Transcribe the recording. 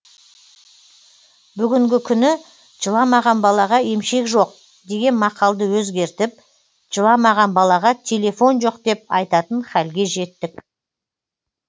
бүгінгі күні жыламаған балаға емшек жоқ деген мақалды өзгертіп жыламаған балаға телефон жоқ деп айтатын хәлге жеттік